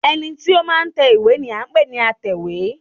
ẹní tí o ma n tẹ ìwé ni a n pẹ ní àtẹwé